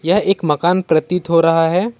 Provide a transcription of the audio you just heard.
यह एक मकान प्रतीत हो रहा है।